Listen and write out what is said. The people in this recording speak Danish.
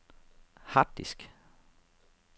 harddisk